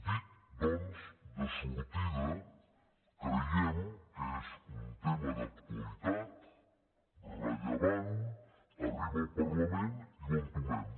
dit doncs de sortida creiem que és un tema d’actualitat rellevant arriba al parlament i ho entomem